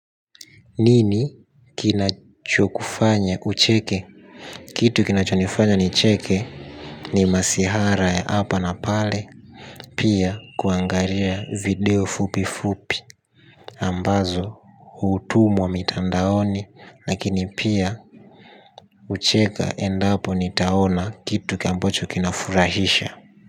Nini kinacho kufanya ucheke? Kitu kinacho nifanya nicheke ni masihara ya hapa na pale. Pia kuangalia video fupi fupi ambazo hutumwa mitandaoni lakini pia hucheka endapo nitaona kitu ambacho kinafurahisha.